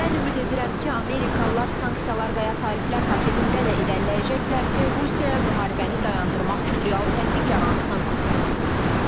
Mən ümid edirəm ki, Amerikalılar sanksiyalar və ya tariflər paketində də irəliləyəcəklər ki, Rusiyaya müharibəni dayandırmaq üçün real təzyiq yaransın.